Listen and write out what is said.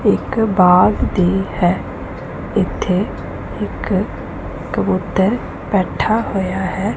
ਇਕ ਬਾਗ ਦੀ ਹੈ ਇਥੇ ਇਕ ਕਬੂਤਰ ਬੈਠਾ ਹੋਇਆ ਹੈ।